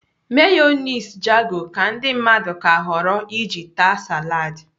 Meyoniz Jago ka ndị mmadụ ka họrọ iji taa saladi.